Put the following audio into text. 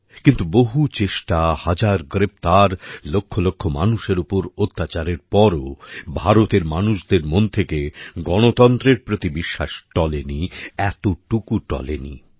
কিন্তু বহুও চেষ্টা হাজার গ্রেপ্তার লক্ষ লক্ষ মানুষের উপর অত্যাচারের পরও ভারতের মানুষদের মন থেকে গণতন্ত্রের প্রতি বিশ্বাস টলে নি এতটুকু টলে নি